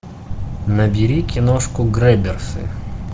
набери киношку грэбберсы